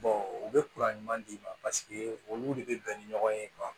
u bɛ ɲuman d'i ma paseke olu de bɛ bɛn ni ɲɔgɔn ye